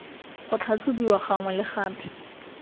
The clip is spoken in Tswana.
go tlhatlhobiwa gangwe le gape